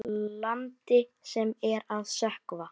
Lífið blasti við ykkur Bubba.